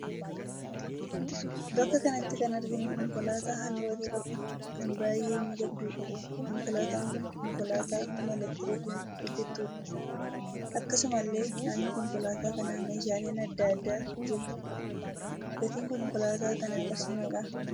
Bakka kanatti kan arginu konkolaataa halluu adii qabdu kan baayyyee miidhagduudha. Konkolaataan kun konkolaataa humna 'elektirikiin' hojjettuudha. Akasumallee naannoo konkolaataa kanaa meeshaaleen adda addaa jiru. Gatiin konkolaataa kanaa qarshii meeqa?